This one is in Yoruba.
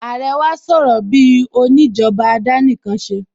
Àrẹ wá sọ̀rọ̀ bíi òní ìjọba àdánìkanṣeni